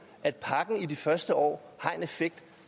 at pakken i de første år har en effekt